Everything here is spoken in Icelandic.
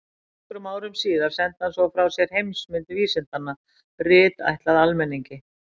Nokkrum árum síðar sendi hann svo frá sér Heimsmynd vísindanna, rit ætlað almenningi.